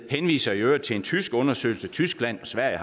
henviser i øvrigt til en tysk undersøgelse tyskland og sverige